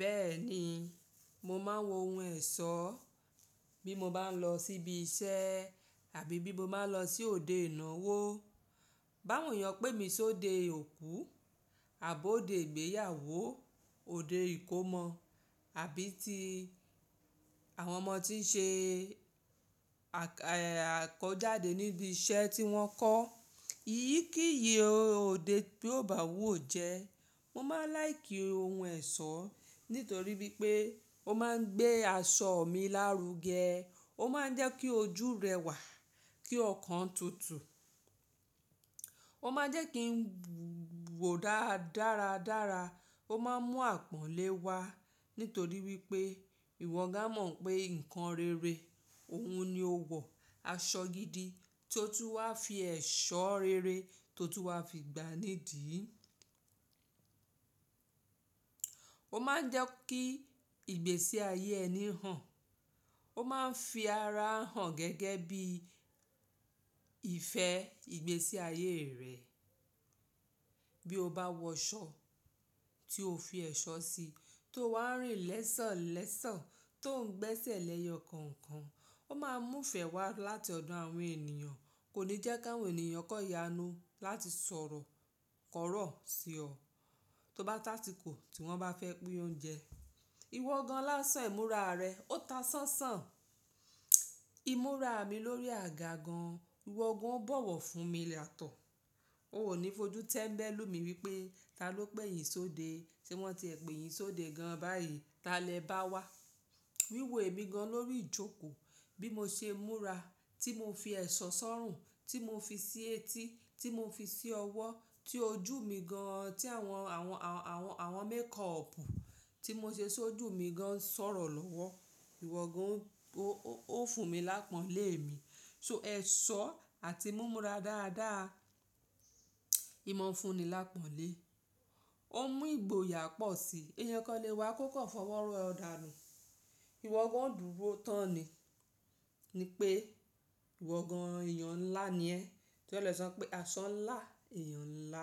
Bẹ́ẹ̀ ni, mo máa ń wọ ohun ẹ̀ṣọ́ bí mo bá ń lọ síbi iṣẹ́ àbí bí mo bá ń lọ sí òde ìnáwó. Bá won èèyàn pé mi sí òde òkú àbọ̀ òde ìgbéyàwó, òde ìkómọ àbí tí àwọn ọmọ ti ń ṣe àkójáde níbi iṣẹ́ tí wọ́n kọ́. Iyí kí iyì óde bí ó bá wù ó jẹ́. Mo máa ń láìkí ohun ẹ̀ṣọ́ nítorí wípé ó máa ń gbé aṣọ mi lárugẹ. Ó máa ń jẹ́ kí ojú rẹwà, kí ọkàn tutù. Ó máa jẹ́ kí ń wò dáradára. Ó máa ń mú àpọ́nlé wá nítorí wípé ìwọ gan amọ̀ pé nǹkan rere, òun ni ó wọ aṣọ gidi tí ó tún wá fi ẹ̀ṣọ́ rere tó tún wá fi gbá nídìí. Ó máa ń jẹ́ kí ìgbésí ayé ẹni hàn. Ó máa ń fi ara hàn gẹ́gẹ́ bí ìfẹ́ ìgbésí ayé rẹ̀. Bí o bá wọ aṣọ tí o fi ẹ̀ṣọ́ si tó wá ń rìn lẹ́sọ̀ọ́lẹ́sọ̀ọ́ tó ń gbẹ́sẹ̀ lẹ́yọ kọ̀ọ̀kan, ó máa mú ìfẹ́ wá láti ọ̀dọ̀ àwọn ènìyàn. Kò ní jẹ́ kà wọn ènìyàn kó yanu láti sọ̀rọ̀ kọ́rọ̀ sí ọ tó bá tó asikò tí wọ́n bá fẹ́ pín oúnjẹ. Ìwọ gan lásán ìmúra rẹ, ó ta ṣánṣán. Ìmúra mi lórí àga gan. Ìwọ gan ó bọ̀wọ̀ fún mi yátọ. Ó ò ní fojú tẹ́mbẹ́lú mi wípé, "Ta ló pè yín sóde, se wọ́n ti è pè yín sóde gan báyìí? Ta lẹ bá wá?" Wíwo èmi gan lórí ìjókòó bí mo ṣe múra, tí mo fi ẹ̀ṣọ́ sọ́rùn, tí mo fi sí etí, tí mo fi sí ọwọ́, tí ojú mi gan, tí àwọn, àwọn, àwọn makeup tí mo ṣe sójú mi gan ń sọ̀rọ̀ lọ́wọ́. Ìwọ gan ó fún mi lápọ́nlé mi. So ẹ̀ṣọ́ àti múmúra dáadáa, ìmọ̀ ń fún ni lápọ́nlé. Ó mú ìgboyà pọ̀ sí i. Èèyàn kan ó lè wá kó kò fọwọ́ rọ ọ̀dàànù. Ìwọ gan ó dùro tán ni. Ni pé ìwọ gan èèyàn ńlá ni ẹ́. Tó rí é lò sè sọ pé aṣọ ńlá, èèyàn ńlá.